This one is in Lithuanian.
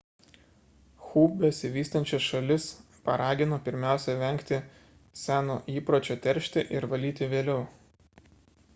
hu besivystančias šalis paragino pirmiausia vengti seno įpročio teršti ir valyti vėliau